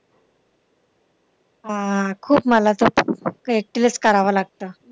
हा, खूप मला तर करावं लागतं.